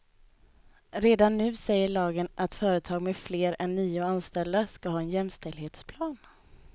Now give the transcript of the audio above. Redan nu säger lagen att företag med fler än nio anställda ska ha en jämställdhetsplan.